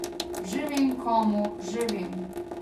Že vem, komu, že vem ...